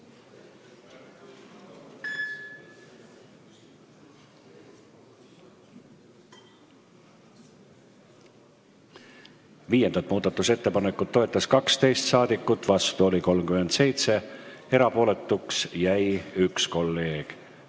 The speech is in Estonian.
Hääletustulemused Viiendat muudatusettepanekut toetas 12 ja vastu oli 37 rahvasaadikut, erapooletuks jäi 1 kolleeg.